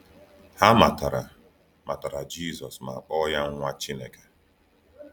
Ha matara matara Jisọs ma kpọọ ya ‘Nwa Chineke.’